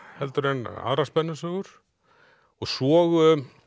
heldur en aðrar spennusögur svo